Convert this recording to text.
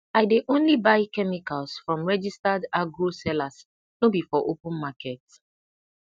i dey only buy chemicals from registered agro sellers no be for open market